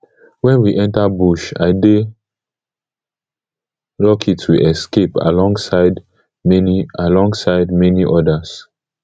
wen we enta bush i dey lucky to escape alongside many alongside many odas